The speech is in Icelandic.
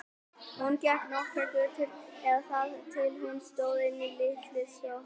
Hún gekk nokkrar götur eða þar til hún stóð inni í lítilli sjoppu.